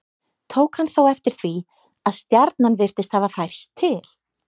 Tók hann þá eftir því að stjarnan virtist hafa færst til.